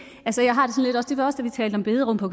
talte om bederum på